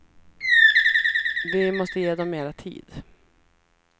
Vi måste ge dem mera tid.